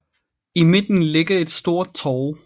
I midten ligger et stort torv